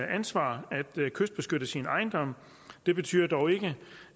ansvar at kystbeskytte sin ejendom det betyder dog ikke